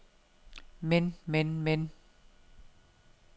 men men men